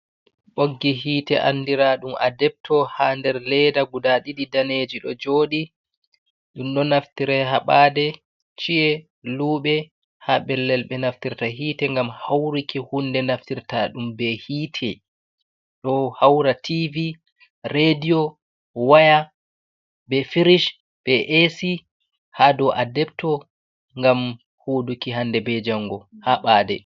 Ɓoggi hite andiraa ɗum adepto, haa nder leda guda ɗiɗi, daneji ɗo joɗi. Ɗum ɗo naftire haa ɓade, ci’e, luɓe, haa pellel ɓe naftirta hite, ngam hauruki hunde naftirta ɗum be hite, ɗo haura tivi, redio, waya, be firish be esi. Haa ɗo adepto ngam huduki hande be jango haa ɓade.